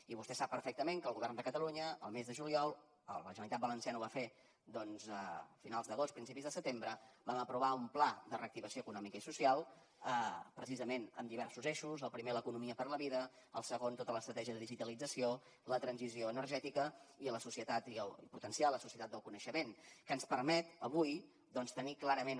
i vostè sap perfectament que el govern de catalunya el mes de juliol la generalitat valenciana ho va fer doncs a finals d’agost principis de setembre vam aprovar un pla de reactivació econòmica i social precisament amb diversos eixos el primer l’economia per a la vida el segon tota l’estratègia de digitalització la transició energètica i potenciar la societat del coneixement que ens permet avui doncs tenir clarament